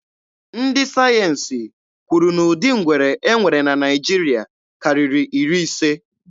Ndị sayensi kwuru na ụdị ngwere e nwere na Naịjiria karịrị iri ise.